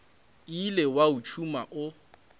ile wa o tšhuma o